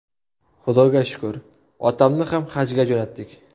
Xudoga shukr, otamni ham Hajga jo‘natdik.